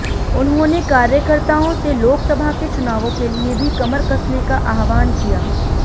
उन्होंने कार्यकर्ताओं से लोकसभा के चुनावों के लिए भी कमर कसने का आह्वान किया